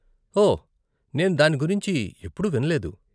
ఓహ్, నేను దాని గురించి ఎప్పుడూ విన్లేదు.